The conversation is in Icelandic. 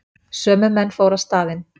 Sömu menn fóru á staðinn